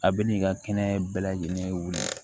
A bɛ n'i ka kɛnɛ bɛɛ lajɛlen wele